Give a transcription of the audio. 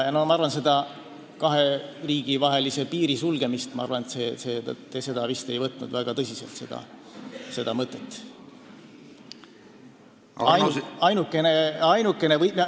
Ma arvan, et te seda kahe riigi vahelise piiri sulgemist väga tõsiselt ei mõelnud ka.